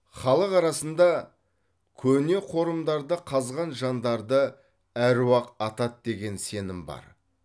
халық арасында көне қорымдарды қазған жандарды аруақ атады деген сенім бар